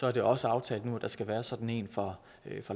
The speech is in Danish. er det også aftalt nu at der skal være sådan en for